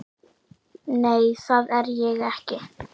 Nei, það er ég ekki.